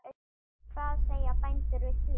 Hvað segja bændur við því?